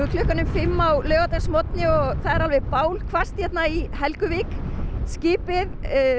klukkan um fimm á laugardagsmorgni og það er alveg hérna í Helguvík skipið